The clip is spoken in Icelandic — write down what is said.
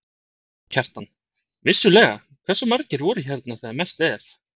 Kjartan: Vissulega, hversu margir voru hérna þegar mest er?